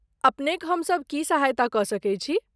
अपनेक हम सब की सहायता क सकैत छी ?